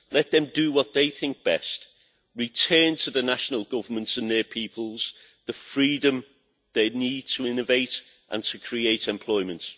Let them do what they think best. Let national governments and their peoples again have the freedom they need to innovate and to create employment.